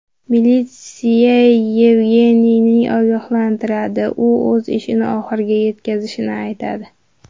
Militsiya Yevgeniyni ogohlantiradi, u o‘z ishini oxiriga yetkazishini aytadi.